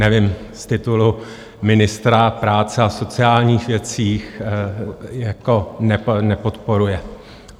Nevím, z titulu ministra práce a sociálních věcí jako nepodporuje?